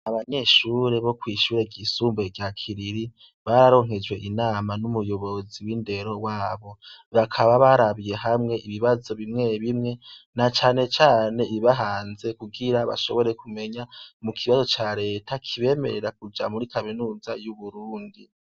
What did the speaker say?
Abanyeshure bo kwishure ryisumbuye rya Kiriri bararonkejwe inama n' umuyobozi w' indero wabo bakaba barabiye hamwe ibibazo bimwe bimwe na cane cane ibibahanze kugira bashobore kumenya mukibazo ca Renta kibemerera kuja muri kaminuza y' Uburundi.